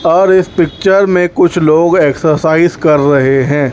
और इस पिक्चर में कुछ लोग एक्सरसाइज कर रहे हैं।